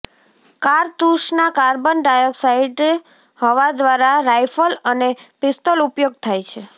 કારતુસના carbon dioxide હવા દ્વારા rifle અને પિસ્તોલ ઉપયોગ થાય છે